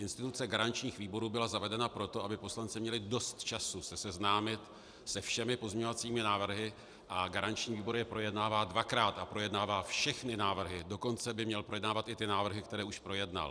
Instituce garančních výborů byla zavedena proto, aby poslanci měli dost času se seznámit se všemi pozměňovacími návrhy, a garanční výbor je projednává dvakrát a projednává všechny návrhy, dokonce by měl projednávat i ty návrhy, které už projednal.